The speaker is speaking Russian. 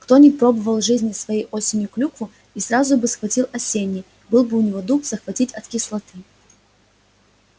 кто не пробовал в жизни своей осенью клюкву и сразу бы схватил осенней был бы у него бы дух захватить от кислоты